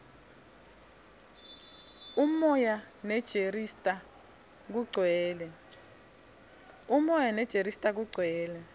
umoya nerejista kugcwele